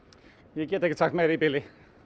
ég get ekki sagt meira í bili